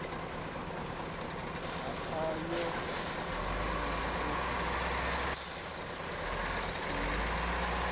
ha ayoni na fo ieti